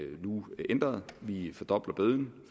nu ændret vi fordobler bøden